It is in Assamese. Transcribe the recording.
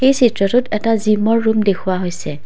এই চিত্ৰটোত এটা জিমৰ ৰুম দেখুওৱা হৈছে।